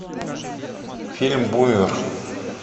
фильм бумер